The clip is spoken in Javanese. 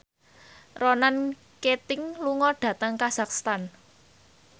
Ronan Keating lunga dhateng kazakhstan